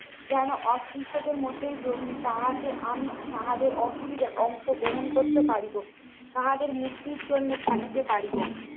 যেন অস্পৃশ্যতার মধ্যেই জন্মি তাহাতে আমি তাহাদের অসুবিধায় অংশগ্রহণ করতে পারিব। তাহাদের মুক্তির জন্যে খাঁটিতে পারিব।